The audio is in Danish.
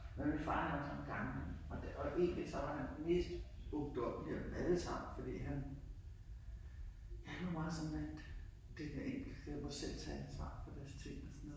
Men min far han var sådan en gammel en og det og egentlig så var han den mest ungdommelige af dem alle sammen fordi han han var meget sådan at det den enkelte der må selv tage ansvar for deres ting og sådan noget